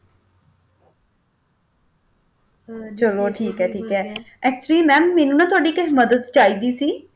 ਚਲੋ ਠੀਕ ਹੈ ਠੀਕ ਹੈ actually ma'am ਮੈਨੂੰ ਨਾ ਤੁਹਾਡੀ ਇੱਕ ਮਦਦ ਚਾਹੀਦੀ ਸੀ।